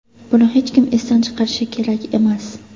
Buni hech kim esdan chiqarishi kerak emas.